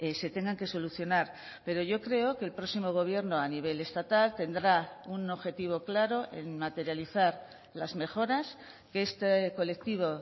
se tengan que solucionar pero yo creo que el próximo gobierno a nivel estatal tendrá un objetivo claro en materializar las mejoras que este colectivo